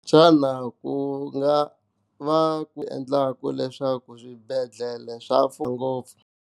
Xana ku nga va ku endlaka leswaku swibedhlele swa mfumo ngopfu.